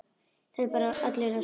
Verður hann.